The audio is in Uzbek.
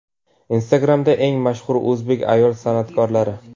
Instagram’da eng mashhur o‘zbek ayol san’atkorlari .